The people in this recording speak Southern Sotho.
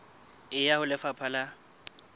e ya ho lefapha la